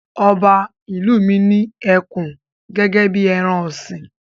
Ọba ìlú mi ní ẹkùn gẹ́gẹ́ bí ẹran-ọ̀sìn.